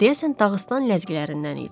Deyəsən Dağıstan ləzgilərindən idi.